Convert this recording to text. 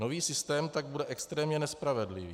Nový systém tak bude extrémně nespravedlivý.